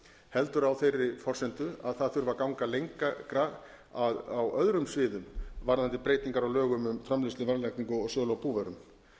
heldur á þeirri forsendu að það þurfi að ganga lengra á öðrum sviðum varðandi breytingar á lögum um framleiðslu verðlagningu og sölu á búvörum